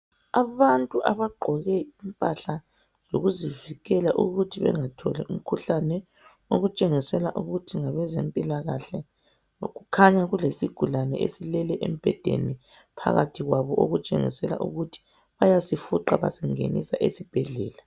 Abantu abaqgoke impahla yokuzivikela ukuthi bengatholi umkhuhlane okutshengisela ukuthi ngabezempila kahle kukhanya kulesigulane esilele embhedeni phakathi kwabo okutshengisela ukuthi bayasi fuqa basingenise esibhedlela